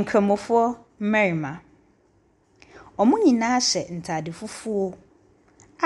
Nkramofoɔ mmarima, wɔn nyinara hyehyɛ ataare fufuo